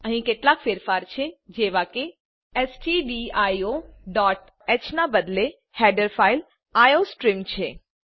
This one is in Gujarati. અહીં કેટલાક ફેરફાર છે જેવા કે stdioહ ના બદલે હેડર ફાઈલ આઇઓસ્ટ્રીમ છે